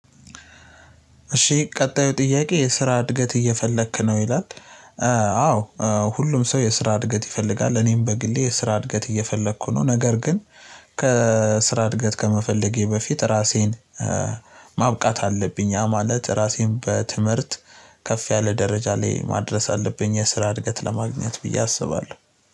እሺ ቀጣዩ ጥያቄ "የስራ እድገት እየፈለክ ነው?" ይላል፣ አዎ ሁሉም ሰው የስራ እድገት ይፈልጋል። እኔም በግሌ የስራ እድገት እየፈለኩ ነው። ነገር ግን ከስራ እድገት ከመፈለጌ በፊት፤ ራሴን ማብቃት አለብኝ፣ ያ ማለት ራሴን በትምህርት ከፍ ያለ ደረጃ ላይ ማድረስ አለብኝ። የስራ እድገት ለማግኘት ብዬ አስባለሁ።